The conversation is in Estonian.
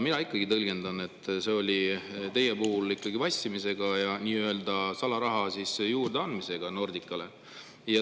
Mina tõlgendan, et teie puhul oli tegu ikkagi vassimisega ja nii-öelda salaraha juurdeandmisega Nordicale.